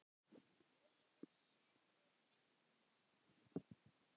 Eigið þið sömu vinina?